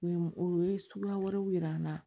U ye u ye suguya wɛrɛw yira an na